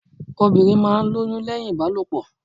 Obìnrin máa ń lóyún lẹ́hìn Ìbálòpọ̀.